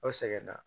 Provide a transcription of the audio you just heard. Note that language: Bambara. Aw sɛgɛnna